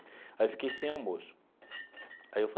Aí eu fiquei sem almoço aí eu